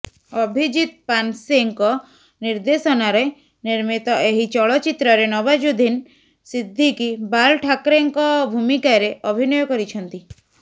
ଅଭିଜିତ୍ ପାନସେଙ୍କ ନିର୍ଦ୍ଦେଶନାରେ ନିର୍ମିତ ଏହି ଚଳଚ୍ଚିତ୍ରରେ ନବାଜୁଦ୍ଦିନ ସିଦ୍ଦିକୀ ବାଲ ଠାକରେଙ୍କ ଭୂମିକାରେ ଅଭିନୟ କରିଛନ୍ତି